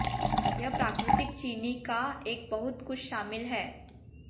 यह प्राकृतिक चीनी का एक बहुत कुछ शामिल है